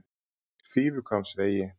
Fífuhvammsvegi